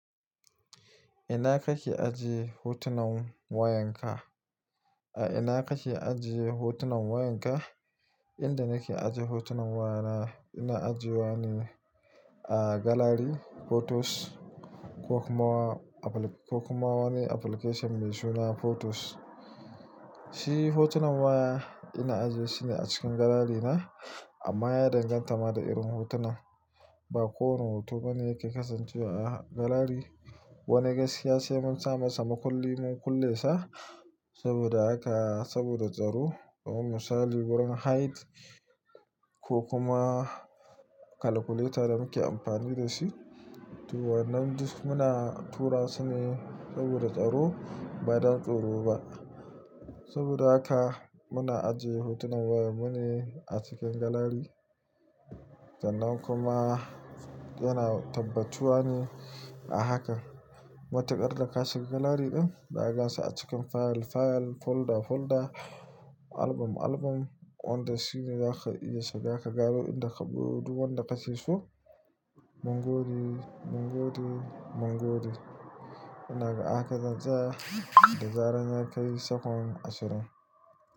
Ina kake ajiye hotunan wayanka? A ina kake ajiye hotunan wayanka? Inda nake ajiye hotunan wayana, ina ajiyewa ne a galari photos ko kuma wani application mai suna photos. Shi hotunan waya ina ajiyesu ne a cikin galari na. Amma ya danganta ma da irin hotunan. Ba kowane hoto bane yake kasancewa a galari. Wani gaskiya sai mun sa masa mukulli, mun kulle sa saboda haka, saboda tsaro. To misali wurin height ko kuma calculator da muke amfani da shi. To wannan duk muna tura su ne saboda tsaro, ba don tsoro ba. Saboda haka muna ajiye hotunan waya mu ne a cikin galari. Sannan kuma yana tabbatuwa ne a haka. Matukar da ka shiga galari din, za ka gan su a cikin file, file, folder, folder, album, album. Wanda shine za ka iya shiga, kagano duk wanda ka sio Mangode, mangode, mangode. Inaga a haka zantsaya da zarar ya kai sakon ashirin.